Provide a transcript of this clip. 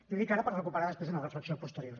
i ho dic ara per recuperar després una reflexió posterior